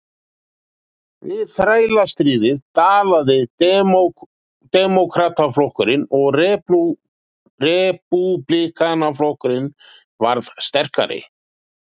Við þrælastríðið dalaði Demókrataflokkurinn og Repúblikanaflokkurinn varð sterkari.